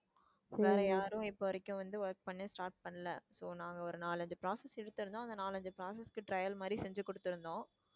வேற யாரும் இப்போ வரைக்கும் வந்து work பண்ண start பண்ணல. so நாங்க ஒரு நாலு ஐஞ்சு process எடுத்திருந்தோம் அந்த நாலு ஐஞ்சு process க்கு trial மாதிரி செஞ்சி கொடுத்துருந்தோம்.